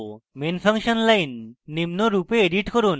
main function line নিম্নরূপে edit করুন: